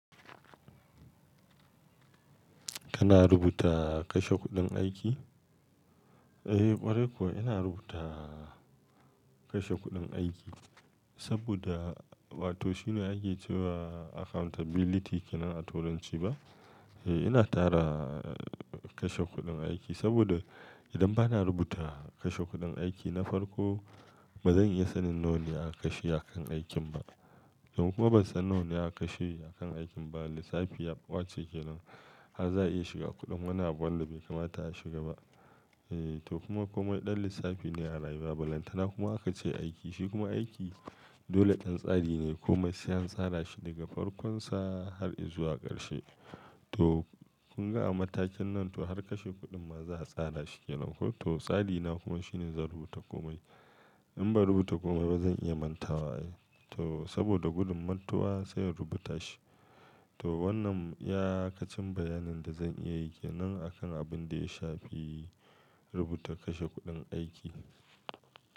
Kana rubuta kashe kuɗin aiki? Eh ƙwarai ko ina rubuta kashe kuɗin aiki saboda wato shi ne ake cewa accountability kenan a turanci ba? Eh ina tara kashe kuɗin aiki saboda idan ba na rubuta kashe kuɗin aiki na farko ba zan iya sanin nawane aka shi akan aikin ba. Idan kuma ban san nawane aka shi akan aikin ba, lissafi yaɓace kenan. Ba za a iya shiga kuɗin wani abu wallahi bai kamata ya shiga ba. Eh toh kuma komai ɗan lissafi ne a rayuwa. Balantana kuma aka ce aiki shi kuma aiki dole ƙyan tsari ne. Koma sai an tsara shi daga farkonsa har izuwa ƙarshe. Toh kun ga a matakin nan toh har kashe kuɗin ma za a tsara shi kenan ko? Toh tsari na kuma shine zan rubuta komai. In ba rubuta komai ba zan iya mantawa. Toh saboda gudun mantuwa sai in rubuta shi. Toh wannan ya kacen bayanin da zan iya yi kenan akan abin da ya shafi rubuta kashe kuɗin aiki.